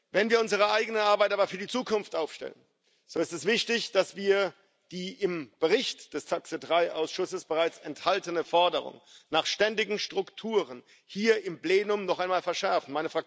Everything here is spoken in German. Wenn wir unsere eigene Arbeit aber für die Zukunft aufstellen, so ist es ist wichtig, dass wir die im Bericht des TAX3 Ausschusses bereits enthaltene Forderung nach ständigen Strukturen hier im Plenum noch einmal verschärfen.